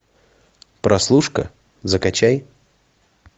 прослушка закачай